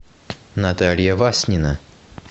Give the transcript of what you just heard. наталья васнина